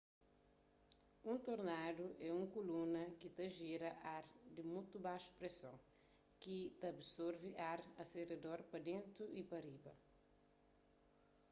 un tornadu é un kuluna ki ta gira ar di mutu baxu preson ki ta absorvi ar a se redor pa dentu y pa riba